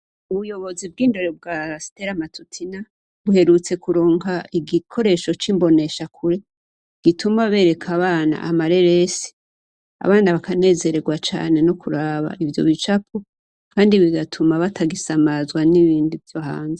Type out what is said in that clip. Ubuyobozi bw'indero bwa stella matutina buherutse kuronka igikoresho c'imbonesha kure gituma bereka abana amareresi abana bakanezerererwa cane no kuraba ivyo bicapo kandi bigatuma batagisamazwa n'ibindi vyo hanze.